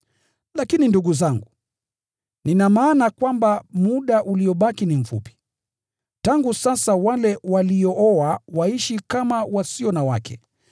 Lakini ndugu zangu, nina maana kwamba muda uliobaki ni mfupi. Tangu sasa wale waliooa waishi kama wasio na wake;